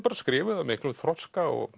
skrifuð af miklum þroska og